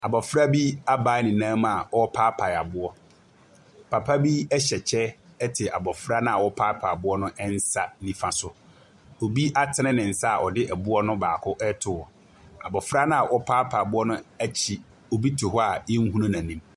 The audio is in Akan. Abɔfra bi abae ne nan mu a ɔrepaapae aboɔ. Papa bi ɛhyɛ kyɛ ɛte abɔfra no a ɔrepaapae aboɔ no nsa nifa so. Obi atene ne nsa a ɔde aboɔ no baako ɛreto hɔ. Abɔfra no a ɔrepae aboɔ n’akyi, obi te hɔ yɛnhunu n’anim.